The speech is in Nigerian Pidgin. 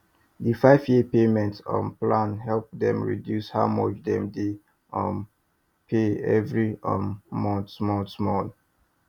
di five year payment um plan help dem reduce how much dem dey um pay every um month small small